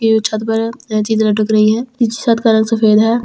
ये जो छत्त पर जो चीज़ लटक रही है इस छत्त का रंग सफ़ेद है ई--